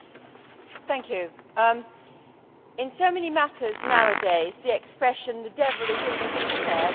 Mr President, in so many matters nowadays, the expression the devil is in the detail' is quoted.